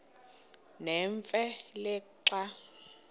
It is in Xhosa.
nemfe le xa